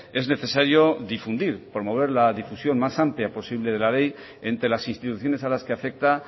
es necesario promover la difusión más amplia posible de la ley entre las instituciones a las que afecta